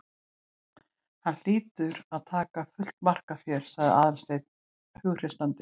Hann hlýtur að taka fullt mark á þér- sagði Aðalsteinn hughreystandi.